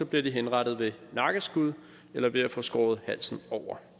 bliver de henrettet med nakkeskud eller ved at få skåret halsen over